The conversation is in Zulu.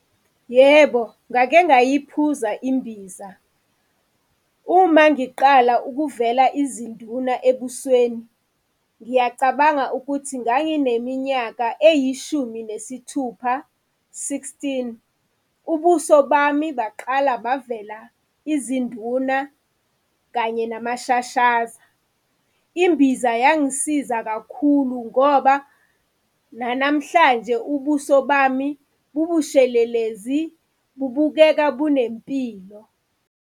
Yebo, ngake ngayiphuza imbiza. Uma ngiqala ukuvela izinduna ebusweni, ngiyacabanga ukuthi ngangineminyaka eyishumi nesithupha, sixteen, ubuso bami baqala bavela izinduna kanye nama shashaza. Imbiza yangisiza kakhulu ngoba nanamhlanje ubuso bami bubushelelezi, bubukeka bunempilo.